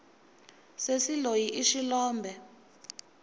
sesi loyi i xilombe